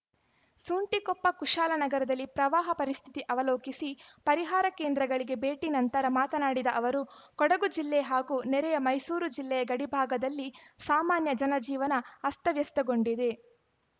ಸುಂಟಿಕೊಪ್ಪ ಕುಶಾಲನಗರದಲ್ಲಿ ಪ್ರವಾಹ ಪರಿಸ್ಥಿತಿ ಅವಲೋಕಿಸಿ ಪರಿಹಾರ ಕೇಂದ್ರಗಳಿಗೆ ಭೇಟಿ ನಂತರ ಮಾತನಾಡಿದ ಅವರು ಕೊಡಗು ಜಿಲ್ಲೆ ಹಾಗೂ ನೆರೆಯ ಮೈಸೂರು ಜಿಲ್ಲೆಯ ಗಡಿಭಾಗದಲ್ಲಿ ಸಾಮಾನ್ಯ ಜನಜೀವನ ಅಸ್ತವ್ಯಸ್ತಗೊಂಡಿದೆ